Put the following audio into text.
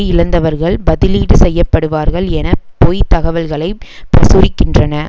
இழந்தவர்கள் பதிலீடு செய்ய படுவார்கள் என பொய்த் தகவல்களை பிரசுரிக்கின்றன